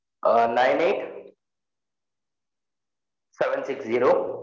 a nine eight seven six zero